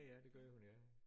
Ja ja det gør hun ja